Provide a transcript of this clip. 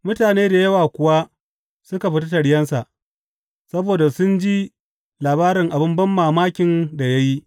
Mutane da yawa kuwa suka fita taryensa, saboda sun ji labarin abin banmamakin da ya yi.